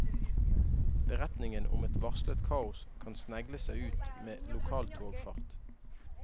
Beretningen om et varslet kaos kan snegle seg ut med lokaltogfart.